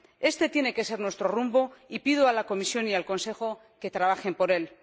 Este tiene que ser nuestro rumbo y pido a la Comisión y al Consejo que trabajen por él.